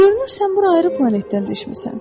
Görünür sən bura ayrı planetdən düşmüsən.